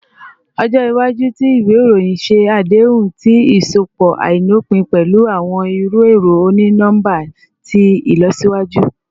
Ọjọ iwaju ti iwe iroyin ṣe adehun ti iṣọpọ ailopin pẹlu awọn iru ẹrọ oni-nọmba ti ilọsiwaju